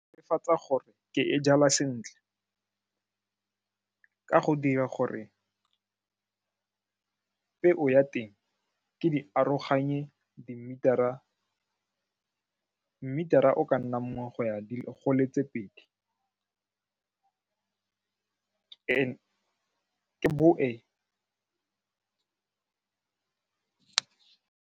Go netefatsa gore ke e jala sentle ka go dira gore peo ya teng ke di aroganya le meter-ra o ka nna nngwe go ya di le tse pedi ke boe.